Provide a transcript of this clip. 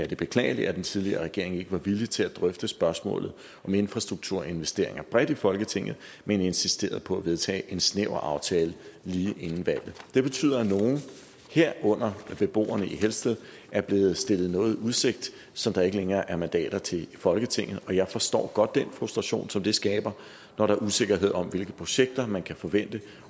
det beklagelige at den tidligere regering ikke var villig til at drøfte spørgsmålet om infrastrukturinvesteringer bredt i folketinget men insisterede på at vedtage en snæver aftale lige inden valget det betyder at nogle herunder beboerne i helsted er blevet stillet noget i udsigt som der ikke længere er mandater til i folketinget jeg forstår godt den frustration som det skaber når der er usikkerhed om hvilke projekter man kan forvente